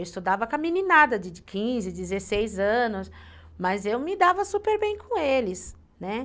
Eu estudava com a meninada de quinze, dezesseis anos, mas eu me dava super bem com eles, né?